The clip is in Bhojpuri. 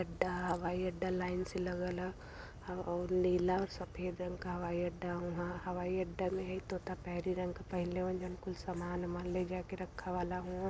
अड्डा हवाई अड्डा लाइन से लगल ह और नीला सफ़ेद रंग क हवाई अड्डा ह हवाई अड्डा में पेरी रंग का पहिनले हवन जवन कुल सामान उमान ले जा के रखा वाला हूं।--